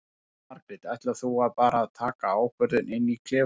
Jóhanna Margrét: Ætlar þú bara að taka ákvörðun inn í klefanum?